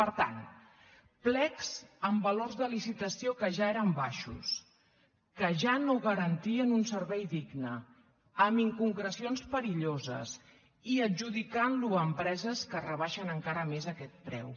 per tant plecs amb valors de licitació que ja eren baixos que ja no garantien un servei digne amb inconcrecions perilloses i adjudicant ho a empreses que rebaixen encara més aquest preu